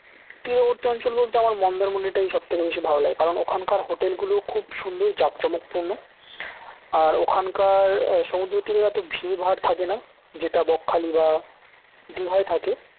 তীরবর্তী অঞ্চল বলতে আমার মন্দারমনি টাই সবচাইতে বেশি ভালো লাগে কারণ ওইখানকার hotel গুলো খুব সুন্দর জাঁকজমকপূর্ণ আর ওখানকার সমুদ্র তীরে অত ভিড় ভার থাকে না যেটা বকখালি বা দীঘায় থাকে